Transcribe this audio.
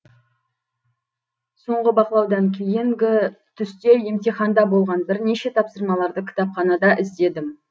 соңғы бақылаудан кейінгі түсте емтиханда болған бірнеше тапсырмаларды кітапханада іздедім